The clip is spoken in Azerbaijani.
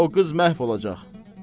Yoxsa o qız məhv olacaq.